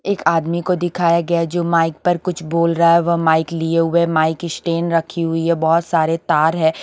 एक आदमी को दिखाया गया है जो माइक पर कुछ बोल रहा वह माइक लिए हुए है माइक स्टैंड रखी हुई है बहोत सारे तार है।